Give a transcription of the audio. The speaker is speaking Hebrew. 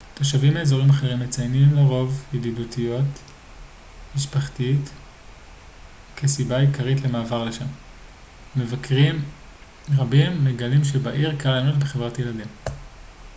תושבים מאזורים אחרים מציינים לרוב ידידותיות משפחתית כסיבה עיקרית למעבר לשם ומבקרים רבים מגלים שבעיר קל ליהנות בחברת ילדים